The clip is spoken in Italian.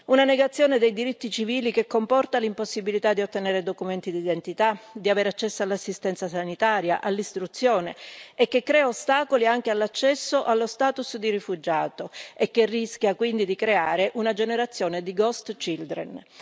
Una negazione dei diritti civili che comporta l'impossibilità di ottenere documenti d'identità, di avere accesso all'assistenza sanitaria e all'istruzione e che crea ostacoli anche nell'accesso allo status di rifugiato, rischiando quindi di creare una generazione di ghost children